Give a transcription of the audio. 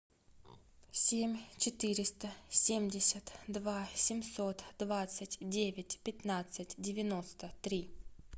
семь четыреста семьдесят два семьсот двадцать девять пятнадцать девяносто три